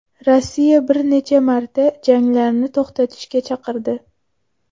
Rossiya bir necha marta janglarni to‘xtatishga chaqirdi .